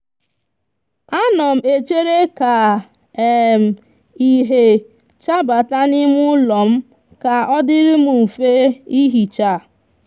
a no m echere ka um ihe chabata n'ime ulo m ka odiri m nfe ihicha